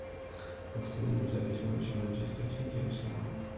повтори нам запись матча манчестер сити арсенал